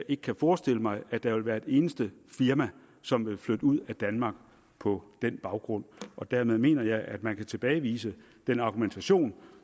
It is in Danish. ikke kan forestille mig at der vil være et eneste firma som vil flytte ud af danmark på den baggrund dermed mener jeg at man kan tilbagevise den argumentation